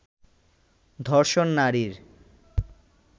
ধর্ষণ নারীর